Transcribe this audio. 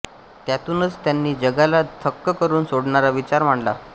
त्यातूनच त्यांनी जगाला थक्क करून सोडणारा विचार मांडला